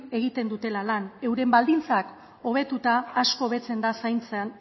egiten dutela lan euren baldintzak hobetuta asko hobetzen da